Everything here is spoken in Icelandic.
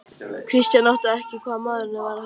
Christian áttaði sig ekki á hvað maðurinn var að fara.